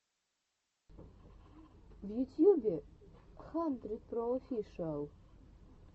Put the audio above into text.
в ютьюбе хандридпроофишиал